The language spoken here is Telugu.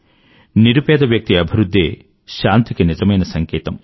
నిరుపేద వ్యక్తి అభివృధ్ధే శాంతికి నిజమైన సంకేతం